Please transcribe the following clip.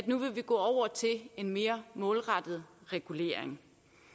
nu vil gå over til en mere målrettet regulering